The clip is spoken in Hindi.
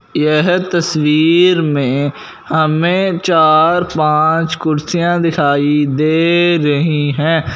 यह तस्वीर में हमें चार पांच कुर्सियां दिखाई दे रही हैं।